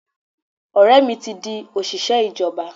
Ọ̀rẹ́ mi ti di òṣìṣẹ́ ìjọba.